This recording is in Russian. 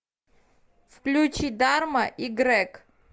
включи дарма и грег